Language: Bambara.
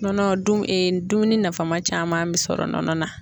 Nɔnɔ dun dumuni nafama caman bi sɔrɔ nɔnɔ na.